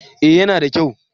Eh ya na da kyau